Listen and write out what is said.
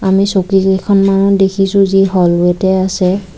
আমি চকী কেইখনমানো দেখিছোঁ যি হ'ল ৱেটে আছে।